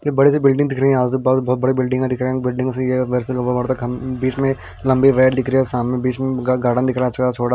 एक बड़ी सी बिल्डिंग दिख रही है आजू बाजू में बिल्डिंग दिख रही है।